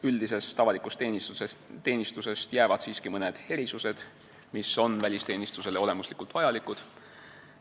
Üldisest avalikust teenistusest jäävad siiski mõned erisused, mis on välisteenistusele olemuslikult vajalikud.